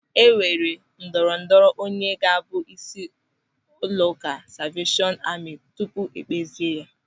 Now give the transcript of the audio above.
E nwere ndọrọ ndọrọ onye ga-abụ isi ụlọụka Salveeshọn Amị tupu ékpèzie ya.